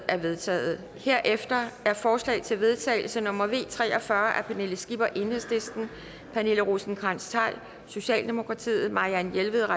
er vedtaget herefter er forslag til vedtagelse nummer v tre og fyrre af pernille skipper pernille rosenkrantz theil marianne jelved